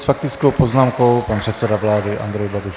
S faktickou poznámkou pan předseda vlády Andrej Babiš.